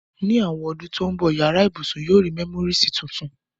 Ní àwon odún to n bo, yará ibùsùn yio ri memories tuntun